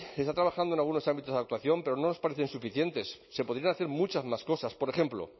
está trabajando en algunos ámbitos de actuación pero no nos parecen suficientes se podrían hacer muchas más cosas por ejemplo